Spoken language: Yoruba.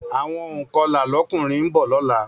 Àwọn ònkọlà lọ́kùnrin ńbọ̀ lọ́la